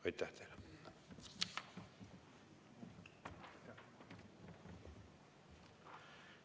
Aitäh teile!